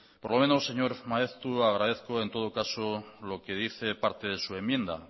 por lo menos señor maeztu agradezco en todo caso lo que dice parte de su enmienda